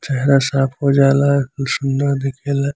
चेहरा साफ़ होजाला खूब सूंदर दिखेला |